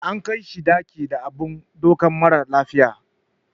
Ana kaishi dakin da abun dauka mara lafiya.